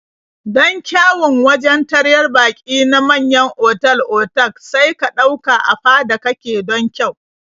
Don kyawun wajen taryar baƙi na manyan otal-otak sai ka ɗauka a fada kake don kyau.